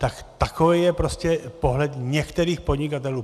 Tak takový je prostě pohled některých podnikatelů.